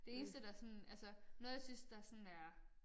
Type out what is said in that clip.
Det eneste der sådan altså noget jeg synes der sådan er